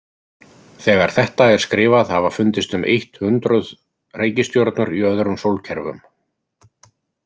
Þegar þetta er skrifað hafa fundist um eitt hundruð reikistjörnur í öðrum sólkerfum.